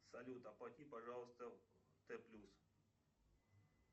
салют оплати пожалуйста т плюс